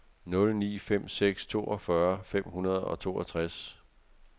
nul ni fem seks toogfyrre fem hundrede og toogtres